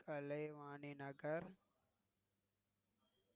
Kalaivani Nagar